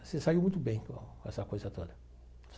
Se saiu muito bem com essa coisa toda.